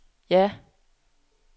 ja